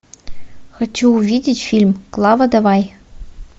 хочу увидеть фильм клава давай